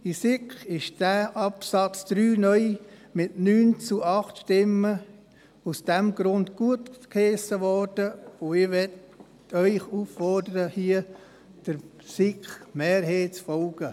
In der SiK wurde aus diesem Grund der Absatz 3 (neu) mit 9 zu 8 Stimmen gutgeheissen, und ich möchte Sie auffordern, hier der SiK-Mehrheit zu folgen.